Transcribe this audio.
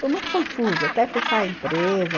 Foi muito confuso, até fechar a empresa.